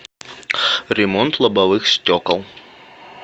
ремонт лобовых стекол